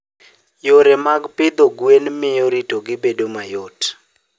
Yore mag pidho gwen miyo ritogi bedo mayot.